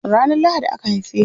Ranar Lahadi aka haife ni.